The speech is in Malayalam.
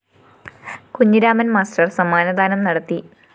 കുഞ്ഞിരാമന്‍ മാസ്റ്റർ സമ്മാനദാനം നടത്തി